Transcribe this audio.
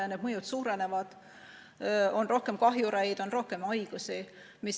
Ja see mõju suureneb: on rohkem kahjureid, on rohkem haigusi.